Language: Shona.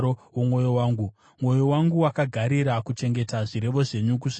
Mwoyo wangu wakagarira kuchengeta zvirevo zvenyu, kusvikira kumagumo.